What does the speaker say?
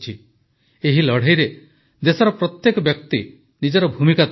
ଏହି ଲଢ଼େଇରେ ଦେଶର ପ୍ରତ୍ୟେକ ବ୍ୟକ୍ତି ନିଜର ଭୂମିକା ତୁଲାଇଛନ୍ତି